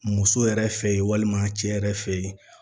Muso yɛrɛ fe ye walima cɛ yɛrɛ fe yen